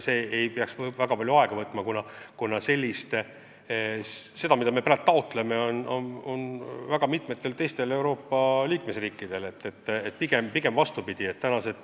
See ei peaks väga palju aega võtma, kuna sama taotlevad praegu ka mitmed teised Euroopa Liidu riigid.